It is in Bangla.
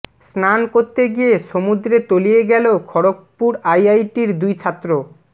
স্নান করতে গিয়ে সমুদ্রে তলিয়ে গেল খড়গপুর আইআইটির দুই ছাত্র